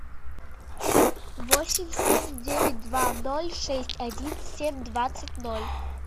восемь семь девять два ноль шесть один семь двадцать ноль